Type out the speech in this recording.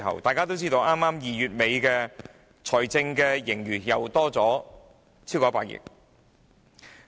大家都知道 ，2 月底的財政盈餘又多了超過100億元。